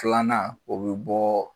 Filanan o be bɔ